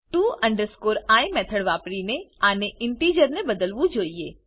to i method વાપરીને આને integer ને બદલવું જોઈએ